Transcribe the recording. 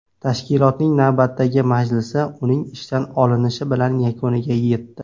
Tashkilotning navbatdagi majlisi uning ishdan olinishi bilan yakuniga yetdi.